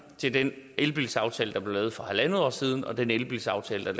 til den elbilaftale der blev lavet for en en halv år siden og den elbilaftale